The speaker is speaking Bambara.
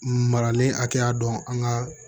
Maralen hakɛya dɔn an ga